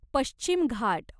पश्चिम घाट